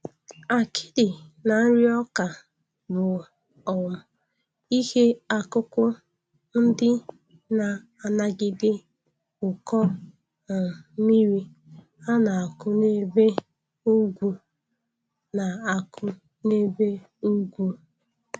Akịdị na nri ọka bụ um ihe akụkụ ndị na-anagide ụkọ um mmiri a na-akụ n'ebe ugwu na-akụ n'ebe ugwu